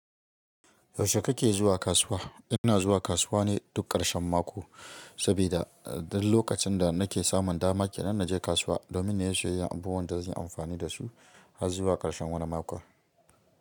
Yaushe kake zuwa kasuwa? Ina zuwa kasuwa ne duk ƙarshen mako, saboda lokacin da nake samun dama ke nan na je kasuwa domin na iya sayan abubuwan da zanyi amfani dasu har zuwa ƙarshen wani mako.